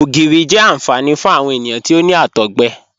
Ogírí jẹ́ ànfàní fún awọn ènìyàn tí ó ní àtọ̀gbẹ